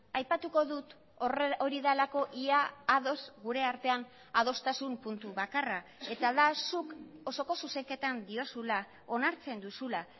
aipatuko dut hori delako ia ados gure artean adostasun puntu bakarra eta da zuk osoko zuzenketan diozula onartzen duzula